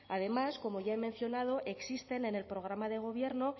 además como ya he mencionado existen en el programa de gobierno